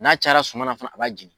N'a cayara suma na fana a b'a jeni.